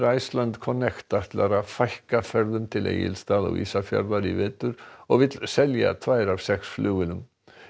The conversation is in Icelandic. Iceland Connect ætlar að fækka ferðum til Egilsstaða og Ísafjarðar í vetur og vill selja tvær af sex flugvélum